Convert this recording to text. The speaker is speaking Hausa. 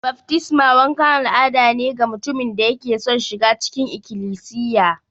Baftisma wankan al'ada ne ga mutumin da yake son shiga cikin Ikilisiya.